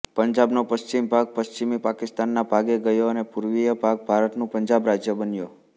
પંજાબનો પશ્ચિમીભાગ પશ્ચિમી પાકિસ્તાનના ભાગે ગયો અને પૂર્વીયભાગ ભારતનું પંજાબ રાજ્ય બન્યો